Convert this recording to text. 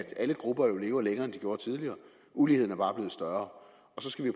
alle grupper lever længere end de gjorde tidligere uligheden er bare blev større